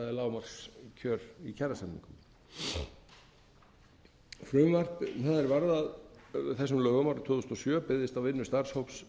lágmarkskjör í kjarasamningum frumvarp það er varð að lögum árið tvö þúsund og sjö byggðist á vinnu starfshóps